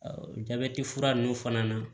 jabɛti fura ninnu fana na